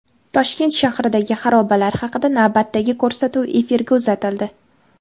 Toshkent shahridagi xarobalar haqida navbatdagi ko‘rsatuv efirga uzatildi.